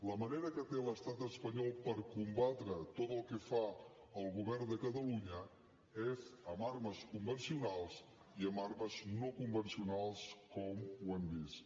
la manera que té l’estat espanyol per combatre tot el que fa el govern de catalunya és amb armes convencionals i amb armes no convencionals com hem vist